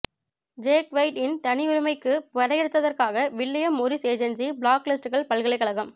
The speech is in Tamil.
ஜேக் வைட் இன் தனியுரிமைக்கு படையெடுத்ததற்காக வில்லியம் மொரிஸ் ஏஜென்சி பிளாக்லிஸ்ட்கள் பல்கலைக்கழகம்